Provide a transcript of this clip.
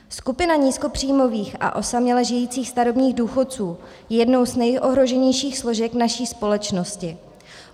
Skupina nízkopříjmových a osaměle žijících starobních důchodců je jednou z nejohroženějších složek naší společnosti.